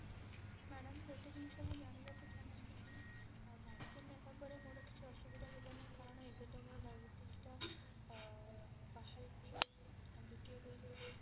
madam ଗୋଟେ ଜିନିଷ ମୁଁ ଜାଣିବାକୁ ଚାହୁଁଛି କି vaccine ନେଲା ପରେ ମୋର କିଛି ଅସୁବିଧା ହେବ ନାହିଁ କାରଣ ଏବେ ତ ମୋର diabetes ଟା ବାହାରିଛି ଦୁତୀୟ dose ରେ